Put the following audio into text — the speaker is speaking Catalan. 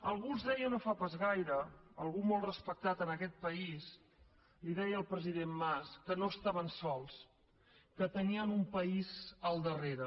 algú els deia no fa pas gaire algú molt respectat en aquest país li deia al president mas que no estaven sols que tenien un país al darrere